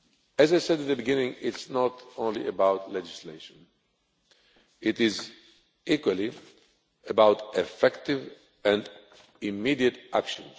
As I said at the beginning, it is not only about legislation, it is also about effective and immediate action.